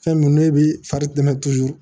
Fɛn min n'o bɛ fari tɛmɛ